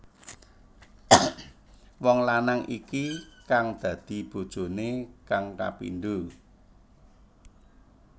Wong lanang iki kang dadi bojoné kang kapindho